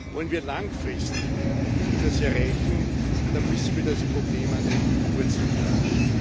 Wollen wir langfristig etwas erreichen, dann müssen wir das Problem an den Wurzeln packen.